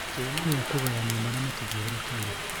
Kĩhumo gĩa kũũgayania marĩa matũthiũrũrũkĩirie